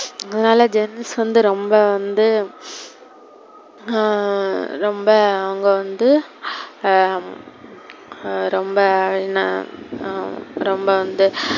அதுனால gents வந்து ரொம்ப வந்து ஆஹ் ரொம்ப அவங்க வந்து உம் ரொம்ப இன்ன உம் ரொம்ப வந்து,